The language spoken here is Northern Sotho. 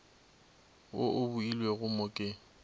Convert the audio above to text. wo o obilwego mo ke